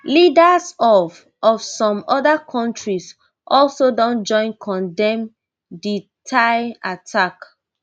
leaders of of some oda kontris also don join condemn di tai attack